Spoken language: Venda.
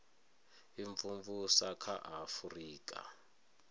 u imvumvusa kha a afurika